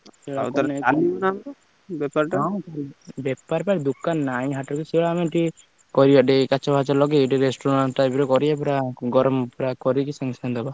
ହଁ ବେପାର ବା ଦୋକାନ ନା ନାହିଁ ହାଟରେ ସେଇଆ ଆମେ ଟିକେ କରିବ ଟେ କାଚ ଫାଚ ଲଗେଇକି ଗୋଟେ restaurant type ର କରିବା ପୁରା ଗରମ ପୁରା କରିକି ସାଙ୍ଗେସାଙ୍ଗେ ଦବା।